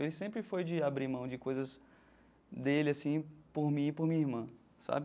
Ele sempre foi de abrir mão de coisas dele assim por mim e por minha irmã sabe.